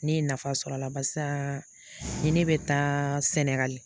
Ne ye nafa sɔrɔ a la barisa ni ne bɛ taa Sɛnɛgali